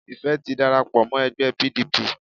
Ìfẹ́ ti darapo mó ẹgbẹ́ P. D. P.